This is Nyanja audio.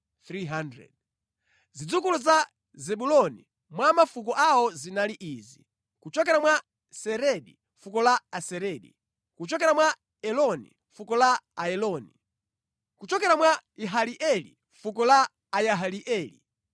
Zidzukulu za Zebuloni mwa mafuko awo zinali izi: kuchokera mwa Seredi, fuko la Aseredi; kuchokera mwa Eloni, fuko la Aeloni; kuchokera mwa Yahaleeli, fuko la Ayahaleeli.